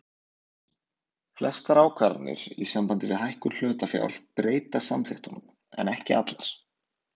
Flestar ákvarðanir í sambandi við hækkun hlutafjár breyta samþykktunum en ekki allar.